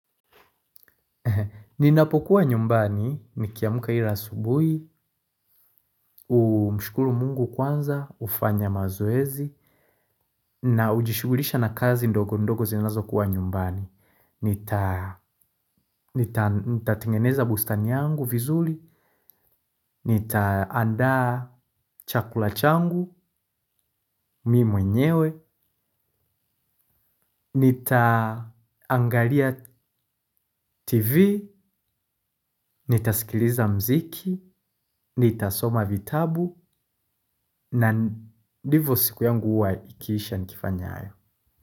Ninapokuwa nyumbani, nikiamka ila asubuhi, humshukuru Mungu kwanza, hufanya mazowezi, na hujishughulisha na kazi ndogo ndogo zinazo kuwa nyumbani. Nita nita tengeneza bustani yangu vizuri. Nita andaa chakula changu mi mwenyewe nita angalia tv. Nitasikiliza mziki. Nitasoma vitabu. Na ndivo siku yangu huwa ikisha nikifanya hayo.